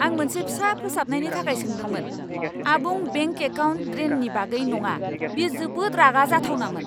आं मोनसे फिसा फोसाबनायनि थाखाय सोंदोंमोन, आबुं बेंक एकाउन्ट ड्रेननि बागै नङा! बेयो जोबोद रागा जाथावनामोन!